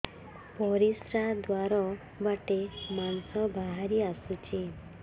ପରିଶ୍ରା ଦ୍ୱାର ବାଟେ ମାଂସ ବାହାରି ଆସୁଛି